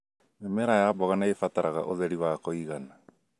Mĩmera ya mboga nĩĩbataraga ũtheri wa kũigana